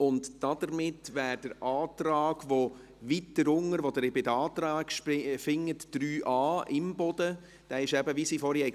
Der Antrag Imboden zu 3a, den Sie weiter unten bei den Anträgen finden, hätte hier dazugehört, es ist eben wie ein Paket, wie sie vorhin gesagt hat.